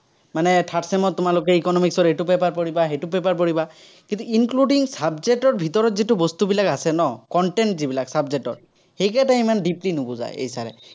মানে third sem ত তোমালোকে economics ৰ এইটো paper পঢ়িবা, সেইটো paper পঢ়িবা। কিন্তু, including subject ৰ ভিতৰত যিটো বস্তুবিলাক আছে ন, content যিবিলাক subject ৰ, সেইকেইটা ইমান deeply নুবুজায়, এই sir এ।